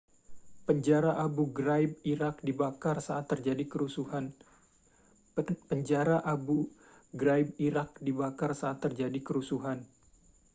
penjara abu ghraib irak dibakar saat terjadi kerusuhan